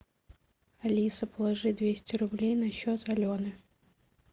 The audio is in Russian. алиса положи двести рублей на счет алены